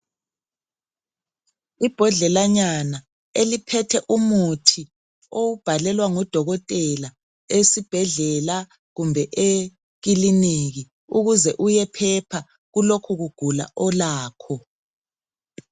Imbodlelanya eliphethe umuthi o wubhalelwa ngudokotela esibhedlela kumbe ekilinika ukuze uyephepha kulokhu kugula olakho.